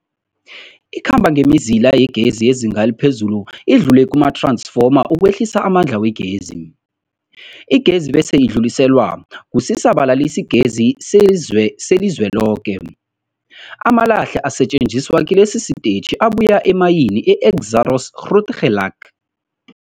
Ikhamba ngemizila yegezi yezinga eliphezulu idlule kumath-ransfoma ukwehlisa amandla wegezi. Igezi bese idluliselwa kusisa-balalisigezi selizweloke. Amalahle asetjenziswa kilesi sitetjhi abuya emayini yeExxaro's Grootegeluk.